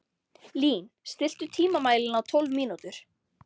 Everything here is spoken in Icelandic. Lín, stilltu tímamælinn á tólf mínútur.